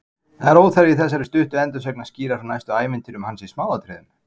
Það er óþarfi í þessari stuttu endursögn að skýra frá næstu ævintýrum hans í smáatriðum.